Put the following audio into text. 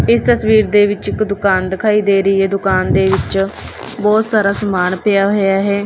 ਇਸ ਤਸਵੀਰ ਦੇ ਵਿੱਚ ਇੱਕ ਦੁਕਾਨ ਦਿਖਾਈ ਦੇ ਰਹੀ ਹੈ ਦੁਕਾਨ ਦੇ ਵਿੱਚ ਬਹੁਤ ਸਾਰਾ ਸਮਾਨ ਪਿਆ ਹੋਇਆ ਹੈ।